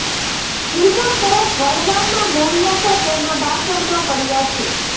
ફિલ્મો તરફ વળવાનાં મૂળિયાં તો તેના બાળપણમાં પડ્યાં છે